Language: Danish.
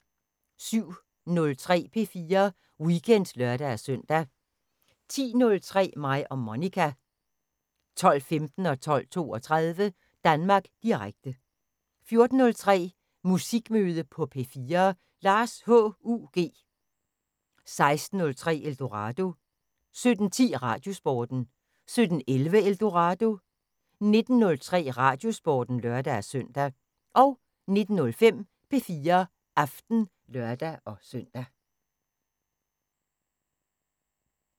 07:03: P4 Weekend (lør-søn) 10:03: Mig og Monica 12:15: Danmark Direkte 12:32: Danmark Direkte 14:03: Musikmøde på P4: Lars H.U.G. 16:03: Eldorado 17:10: Radiosporten 17:11: Eldorado 19:03: Radiosporten (lør-søn) 19:05: P4 Aften (lør-søn)